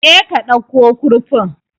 Je ka dauko kurfin